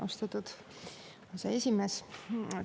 Austatud aseesimees!